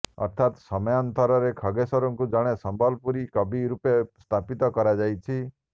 ଅର୍ଥାତ୍ ସମୟାନ୍ତରରେ ଖଗେଶ୍ୱରଙ୍କୁ ଜଣେ ସମ୍ବଲପୁରୀ କବି ରୂପେ ସ୍ଥାପିତ କରାଯାଇଛି